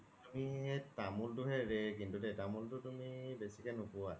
তুমি তামুল তো হে rare কিন্তু দেই তামুল তো তুমি বেচিকে নোপুৱা